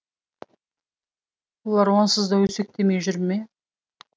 олар онсыз да өсектемей жүр ме